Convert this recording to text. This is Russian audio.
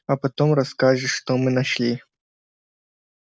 а потом расскажешь что мы нашли